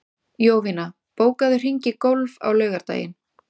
Jovina, bókaðu hring í golf á laugardaginn.